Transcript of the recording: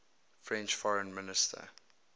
french foreign minister